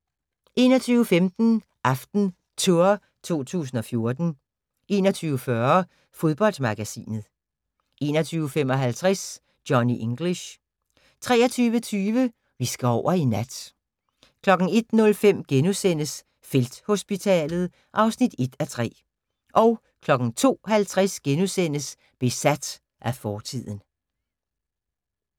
21:15: AftenTour 2014 21:40: Fodboldmagasinet 21:55: Johnny English 23:20: Vi skal over i nat 01:05: Felthospitalet (1:3)* 02:50: Besat af fortiden *